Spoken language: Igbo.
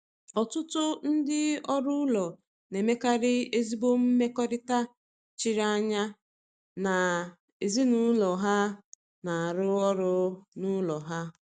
Ọtụtụ ndị ọrụ ụlọ na-emekarị ezigbo mmekọrịta chiri anya na ezinụlọ ha na-arụ ọrụ n’ụlọ ha.